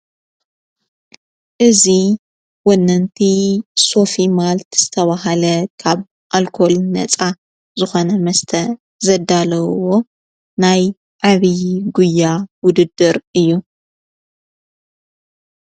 እዙ ወነንቲ ሶፊ ማልቲ ዝተብሃለ ኻብ ኣልኮል ነጻ ዙኾነ መስተ ዘዳለውዎ ናይ ዓቢዪ ጕያ ውድድር እዩ።